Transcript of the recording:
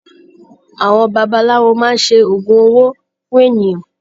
Àwọn babaláwo máa ń ṣe oògùn owó fún ènìyàn.